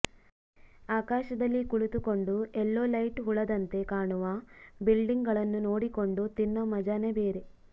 ಆಕಾಶದಲ್ಲಿ ಕುಳಿತುಕೊಂಡು ಎಲ್ಲೋ ಲೈಟ್ ಹುಳದಂತೆ ಕಾಣುವ ಬಿಲ್ಡಿಂಗ್ ಗಳನ್ನು ನೋಡಿಕೊಂಡು ತಿನ್ನೋ ಮಜಾನೆ ಬೇರೆ